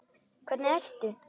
Hvernig ertu?